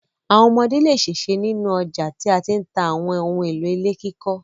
Àwọn ọmọdé le ṣèṣe ní ọjà tí wọ́n ti ń ta àwọn ohun-èlò ilé kíkọ́.